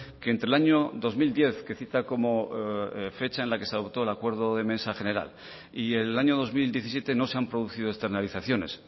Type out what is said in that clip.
que entre el año dos mil diez que cita como fecha en la que se adoptó el acuerdo de mesa general y el año dos mil diecisiete no se han producido externalizaciones